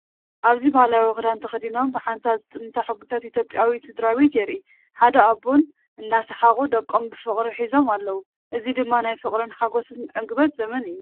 ኣብዚ ባህላዊ ክዳን ተኸዲኖም ብሓንሳብ ዝጥምታ ሕጉሳት ኢትዮጵያዊት ስድራቤት የርኢ። ኣደን ኣቦን እናሰሓቑ ደቆም ብፍቕሪ ሒዞም ኣለዉ። እዚ ድማ ናይ ፍቕርን ሓጎስን ዕግበትን ዘመን እዩ።